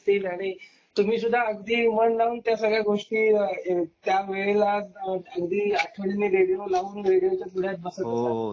आणि तुम्ही सुद्धा अगदी मन लावून त्यावेळे ऑडिओ एकमेव